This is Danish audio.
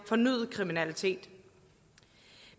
fornyet kriminalitet